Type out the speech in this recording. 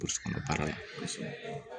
Burusi kɔnɔ baara la kosɛbɛ